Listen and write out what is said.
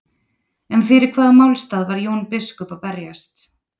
En fyrir hvaða málstað var Jón biskup að berjast?